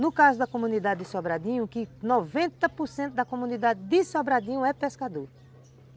No caso da comunidade de Sobradinho, que noventa por cento da comunidade de Sobradinho é pescador.